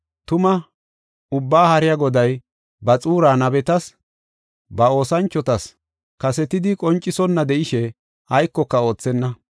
Tuma Ubbaa Haariya Goday ba xuuraa nabetas, ba oosanchotas kasetidi qoncisonna de7ishe aykoka oothenna.